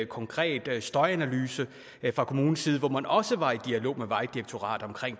konkret støjanalyse fra kommunens side hvor man også var i dialog med vejdirektoratet omkring